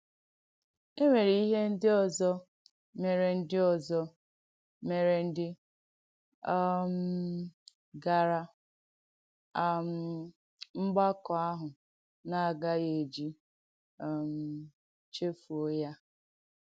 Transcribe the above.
È nwèrè ihè ndí òzọ̀ mèrè ndí òzọ̀ mèrè ndí um gara um mgbàkọ̀ àhụ̄ na-agàghì eji um chefùo ya.